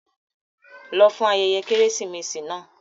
Lọ fún ayẹyẹ Kérésìmesì náà!